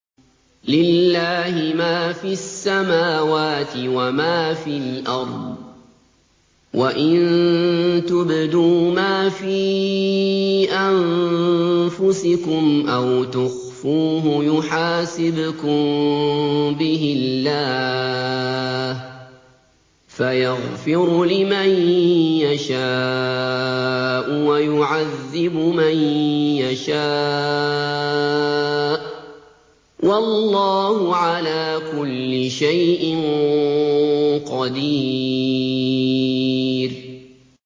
لِّلَّهِ مَا فِي السَّمَاوَاتِ وَمَا فِي الْأَرْضِ ۗ وَإِن تُبْدُوا مَا فِي أَنفُسِكُمْ أَوْ تُخْفُوهُ يُحَاسِبْكُم بِهِ اللَّهُ ۖ فَيَغْفِرُ لِمَن يَشَاءُ وَيُعَذِّبُ مَن يَشَاءُ ۗ وَاللَّهُ عَلَىٰ كُلِّ شَيْءٍ قَدِيرٌ